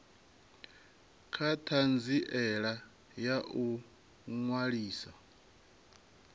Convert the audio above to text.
kha ṱhanziela ya u ṅwalisa